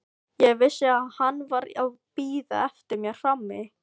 Ég vissi að hann var að bíða eftir mér frammi.